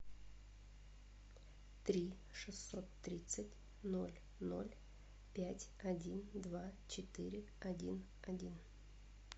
три шестьсот тридцать ноль ноль пять один два четыре один один